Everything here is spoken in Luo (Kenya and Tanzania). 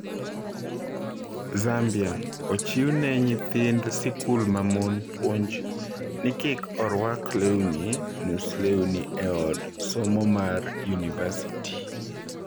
Zambia: Ochiw ne nyithind sikul mamon puonj ni kik orwak lewni nus lewni e od somo mar yunivasiti